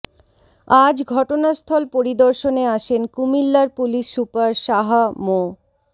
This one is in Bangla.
আজ ঘটনাস্থল পরিদর্শনে আসেন কুমিল্লার পুলিশ সুপার শাহ মো